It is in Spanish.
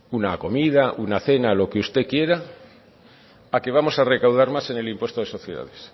una comida una cena lo que usted quiera a que vamos a recaudar más en el impuesto de sociedades